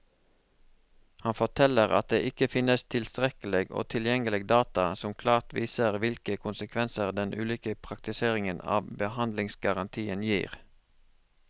Han forteller at det ikke finnes tilstrekkelig og tilgjengelig data som klart viser hvilke konsekvenser den ulike praktiseringen av behandlingsgarantien gir.